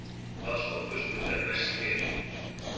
Ásný, hvaða stoppistöð er næst mér?